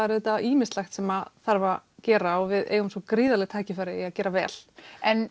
er auðvitað ýmislegt sem þarf að gera og við eigum svo gríðarleg tækifæri í að gera vel en